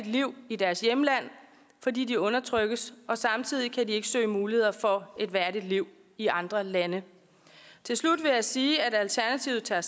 liv i deres hjemland fordi de undertrykkes og samtidig kan de ikke søge muligheder for at et værdigt liv i andre lande til slut vil jeg sige at alternativet tager